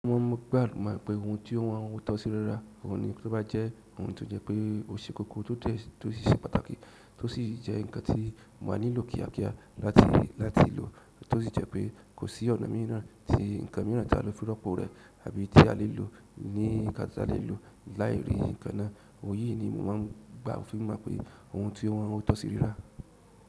Mo mọ̀ pé àlùmákòpè ohun tó wọn á tọ́ sí rírà, òun ni tó bá jẹ́ ohun tó jẹ́ pé o ṣe kókó tó dẹ, tó sì ṣe pàtàkì, tó sì jẹ́ ǹkan tí má nílò kíákíá láti, láti lò, tó sì jẹ́ pé kò sí ọ̀nà míi náà tí ǹkan míràn tí a lè fi rọpo rẹ̀ àbí tí a lè lò ní nǹkan tí a lè lò láì rí ǹkan náà. Ohun yìí ni mo máa ń gba òfin mọ̀ pé ohun tí o wọ́n o tọ́ sí rírà.